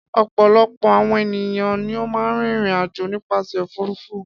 Ọ̀pọ̀lọpọ̀ àwọn ènìyàn ni ó máa ń rìnrìn-àjò nípasẹ̀ òfurufú.